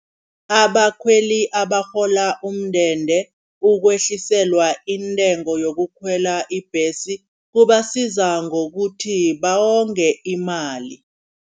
Abakhweli abarhola umndende, ukwehliselwa intengo yokukhwela ibhesi kubasiza ngokuthi bawonge imali.